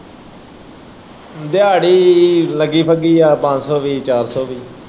ਦਿਆੜੀ ਲੱਗੀ ਬੱਗੀ ਆ ਪੰਜ ਸੋ ਵੀ ਚਾਰ ਸੋ ਵੀ।